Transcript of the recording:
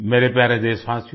मेरे प्यारे देशवासियो